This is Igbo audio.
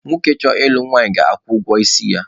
Nwoke chọrọ ịlụ nwanyị na-akwụ ụgwọ isi ya.